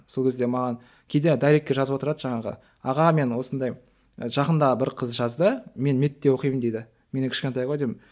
сол кезде маған кейде дайректке жазып отырады жаңағы аға мен осындай жақында бір қыз жазды мен мед те оқимын дейді менен кішкентай ғой деймін